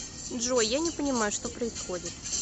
джой я не понимаю что происходит